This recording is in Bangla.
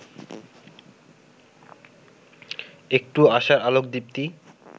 একটু আশার আলোক দীপ্তি